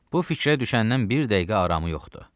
Bu fikrə düşəndən bir dəqiqə aramı yoxdur.